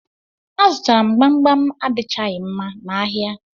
A zụtara m gbam gbam adichaghi mma n'ahịa